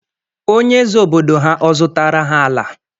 Onye eze obodo ha, ọ zụtara ha ala?